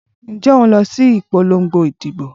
Ǹjẹ́ òun lọ síbi ìpolongo ìdìbò?